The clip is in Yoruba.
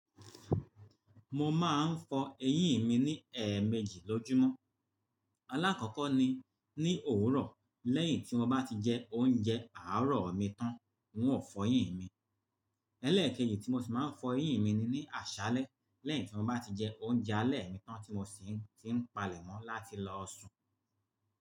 Mo máa ń fọ eyín mi ní ẹẹmeji lójúmọ́. Alákọ̀kọ́ ni ní òwúrọ̀ lẹ́yìn tí mo bá ti jẹ oúnjẹ àárọ̀ mi tán, n ó fọ eyín mi. Eléèkejì tí mo sì máa ń fọ eyín mi ni ní àṣálẹ́ lẹ́yìn tí mo bá ti jẹ oúnjẹ alẹ́ mi tán tí mo sì ti ń palẹ̀ mọ́ láti lọ sùn.